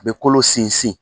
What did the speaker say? Bɛ kolo sinsin.